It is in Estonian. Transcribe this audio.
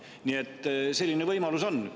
Nii et selline võimalus on.